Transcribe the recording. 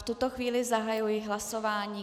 V tuto chvíli zahajuji hlasování.